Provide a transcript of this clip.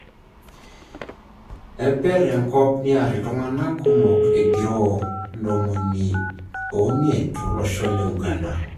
Epere enkop niar iltunganak kumok ogiroo 50 tolosho le Uganda.